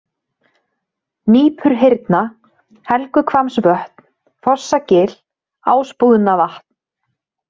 Nípurhyrna, Helguhvammsvötn, Fossagil, Ásbúðnavatn